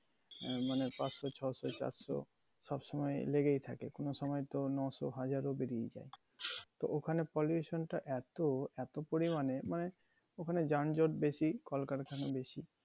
আহ মানে পাছস, ছ শো, সাতশো সব সময় লেগেই থাকে। কোনো সময় তো নশো, হাজার ও পেরিয়ে যায়। তো ওখানে pollution টা এতো, এতো পরিমাণে মানে ওখানে যানজট বেশি, কলকারখানা বেশি